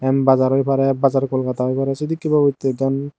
yan bazar oi pare bazar kolkata oi parey sidikkey babottey ekkan.